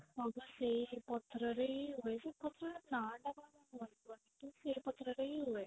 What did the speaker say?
ହଁ. ପା ସେଇ ପଥରରେ ହିଁ ହୁଏ ସେଇ ପଥର ର ନ ଟା କଣ ମୋର ମନେ ପଡୁନି କିନ୍ତୁ ସେଇ ପଥରରେ ହିଁ ହୁଏ